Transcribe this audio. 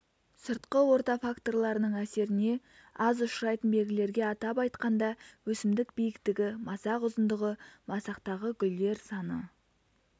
сыртқы орта факторларының әсеріне аз ұшырайтын белгілерге атап айтқанда өсімдік биіктігі масақ ұзындығы масақтағы гүлдер саны